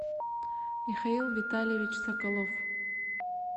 михаил витальевич соколов